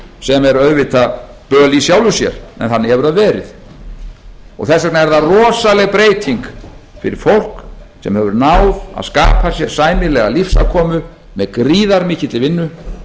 sem er auðvitað böl í sjálfu sér en þannig hefur það verið þess vegna er það rosaleg breyting fyrir fólk sem hefur náð að skapa sér sæmilega lífsafkomu með gríðarmikilli vinnu